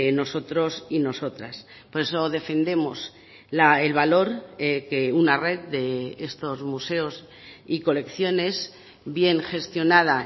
nosotros y nosotras por eso defendemos el valor que una red de estos museos y colecciones bien gestionada